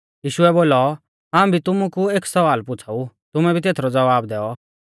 यीशुऐ बोलौ हाऊं भी तुमु कु एक सवाल पुछ़ाऊ तुमै भी तेथरौ ज़वाब दैऔ